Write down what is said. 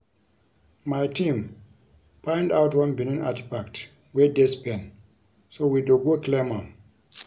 My team find out one Benin artefact wey dey Spain so we dey go claim am